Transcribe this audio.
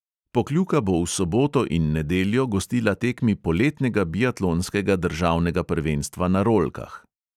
Pokljuka bo v soboto in nedeljo gostila tekmi poletnega biatlonskega državnega prvenstva na rolkah.